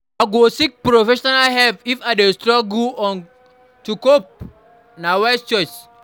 I go seek professional help if I dey struggle to cope; na wise choice.